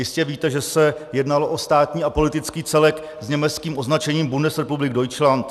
Jistě víte, že se jednalo o státní a politický celek s německým označením Bundesrepublik Deutschland.